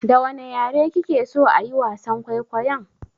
Da wane yare kike so ayi wasan kwaikwayon?